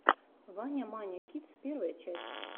ваня маня кидс первая часть